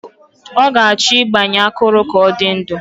Ọ ga-achọ ịgbanye akụrụ ka ọ dị ndụ